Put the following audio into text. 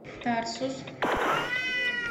тарсус